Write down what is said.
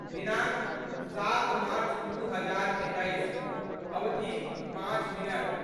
दिनाङ्क, सात मार्च दू हजार एकैस, अवधि, पाँच मिनट